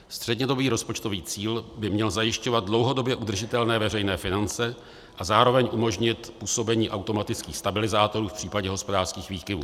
Střednědobý rozpočtový cíl by měl zajišťovat dlouhodobě udržitelné veřejné finance a zároveň umožnit působení automatických stabilizátorů v případě hospodářských výkyvů.